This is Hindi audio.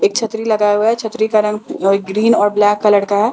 एक छतरी लगाया हुआ है छतरी का रंग जो है ग्रीन और ब्लैक कलर का है।